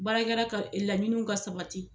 Baarakɛla ka laɲini ka sabati